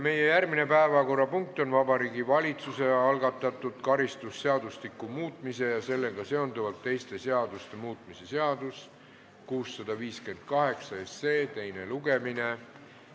Meie järgmine päevakorrapunkt on Vabariigi Valitsuse algatatud karistusseadustiku muutmise ja sellega seonduvalt teiste seaduste muutmise seaduse 658 teine lugemine.